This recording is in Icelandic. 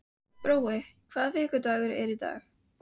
Brói, hvaða vikudagur er í dag?